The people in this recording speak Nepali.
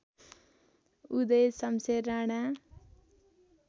उदय सम्शेर राणा